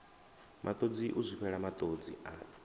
matodzi u zwifhela matodzi a